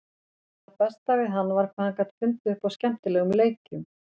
En það besta við hann var hvað hann gat fundið upp á skemmtilegum leikjum.